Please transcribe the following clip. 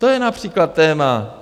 To je například téma.